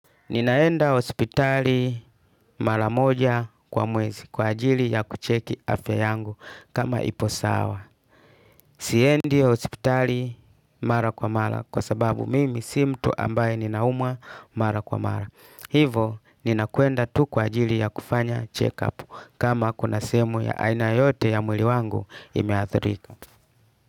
Ninaenda hospitali mara moja kwa mwezi kwa ajili ya kucheki afya yangu kama ipo sawa. Siendi ospitali mara kwa mara kwa sababu mimi sii mtu ambaye ninaumwa mara kwa mara. Hivyo nina kuenda tu kwa ajili ya kufanya check up kama kuna sehemu ya aina yeyote ya mwili wangu imeathirika.